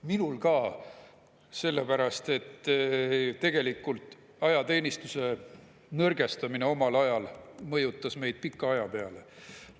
Minul ka, sellepärast et tegelikult ajateenistuse nõrgestamine omal ajal mõjutas meid pika aja peale.